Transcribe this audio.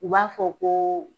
U b'a fɔ ko